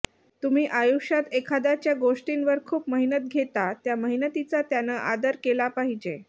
तुम्ही आयुष्यात एखाद्याच्या गोष्टींवर खूप मेहनत घेता त्या मेहनतीचा त्यानं आदर केला पाहिजे